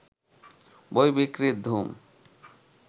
বই বিক্রির ধুম